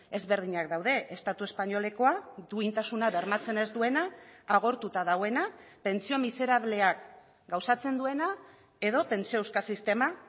ezberdinak daude estatu espainolekoa duintasuna bermatzen ez duena agortuta dagoena pentsio miserableak gauzatzen duena edo pentsio euskal sistema